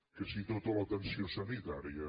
que si tota l’atenció sanitària